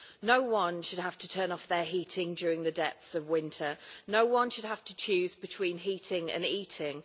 No one should have to turn off their heating during the depths of winter and no one should have to choose between heating and eating.